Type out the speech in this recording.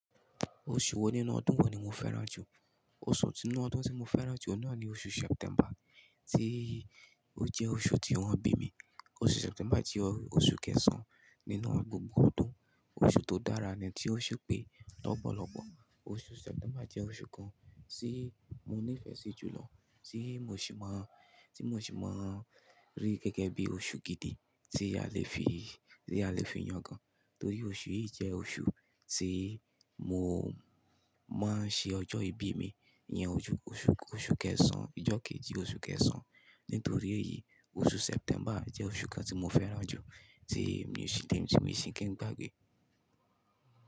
Oṣù wo nínú ọdún wo ni mo fẹ́ràn jù? Oṣù ti nínú ọdún tí mo fẹ́ràn jù ohun náà ni oṣù September, tí ó jẹ́ oṣù tí wọ́n bí mi. Oṣù September jẹ́ oṣù kẹsàn-án nínú gbogbo ọdún, oṣù tó dára ni tí ó ṣépè lọ́pọ̀lọ́pọ̀. Oṣù September jẹ́ oṣù kan tí mo nífẹ̀ẹ́ sí jù lọ, tí mo sì máa, tí mo sì máa rí gẹ́gẹ́ bí i oṣù gidi tí a lè fi, tí a lè fi yàn gan-an. Torí oṣù yìí jẹ́ oṣù tí mo máa ń ṣe ọjọ́ ìbí mi. Ìyẹn oṣù, oṣù kẹsàn-án, ọjọ́ kejì oṣù kẹsàn-án. Nítorí èyí, oṣù September jẹ́ oṣù kan tí mo fẹ́ràn jù tí mi ò sì tí mi ò sì kí n gbàgbé.